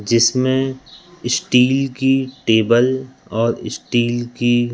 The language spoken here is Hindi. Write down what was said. जिसमें स्टील की टेबल और स्टील की--